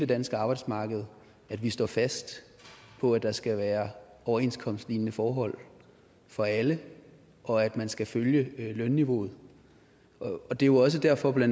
danske arbejdsmarked at vi står fast på at der skal være overenskomstlignende forhold for alle og at man skal følge lønniveauet det er jo også derfor bla